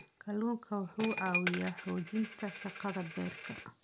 Kalluunku waxa uu caawiyaa xoojinta shaqada beerka.